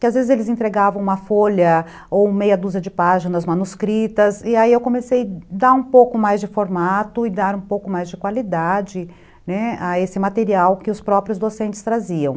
que às vezes eles entregavam uma folha ou meia dúzia de páginas manuscritas, e aí eu comecei a dar um pouco mais de formato e dar um pouco mais de qualidade, né, a esse material que os próprios docentes traziam.